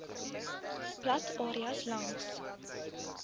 plat areas langs